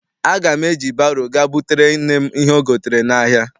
Aga m eji baro ga butere nne m ihe o gotere n'ahia.